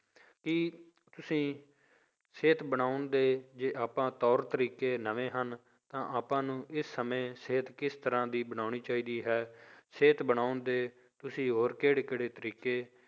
ਕੀ ਤੁਸੀਂ ਸਿਹਤ ਬਣਾਉਣ ਦੇ ਜੇ ਆਪਾਂ ਤੌਰ ਤਰੀਕੇ ਨਵੇਂ ਹਨ ਤਾਂ ਆਪਾਂ ਨੂੰ ਇਸ ਸਮੇਂ ਸਿਹਤ ਕਿਸ ਤਰ੍ਹਾਂ ਦੀ ਬਣਾਉਣੀ ਚਾਹੀਦੀ ਹੈ, ਸਿਹਤ ਬਣਾਉਣ ਦੇ ਤੁਸੀਂ ਹੋਰ ਕਿਹੜੇ ਕਿਹੜੇ ਤਰੀਕੇ,